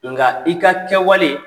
Nka i ka kɛwale